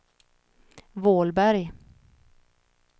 Vålberg